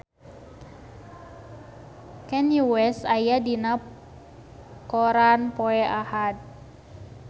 Kanye West aya dina koran poe Ahad